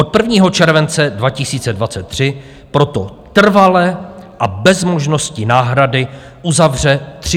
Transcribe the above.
Od 1. července 2023 proto trvale a bez možnosti náhrady uzavře 300 pošt.